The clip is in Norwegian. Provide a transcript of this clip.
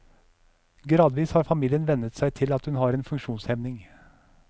Gradvis har familien vennet seg til at hun har en funksjonshemning.